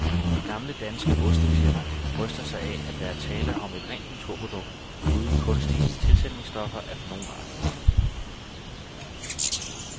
Det gamle danske ostefirma bryster sig af, at der er tale om et rent naturprodukt uden kunstige tilsætningsstoffer af nogen art.